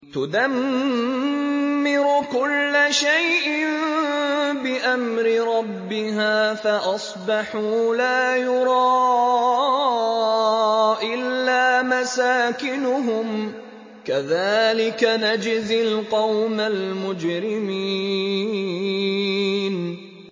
تُدَمِّرُ كُلَّ شَيْءٍ بِأَمْرِ رَبِّهَا فَأَصْبَحُوا لَا يُرَىٰ إِلَّا مَسَاكِنُهُمْ ۚ كَذَٰلِكَ نَجْزِي الْقَوْمَ الْمُجْرِمِينَ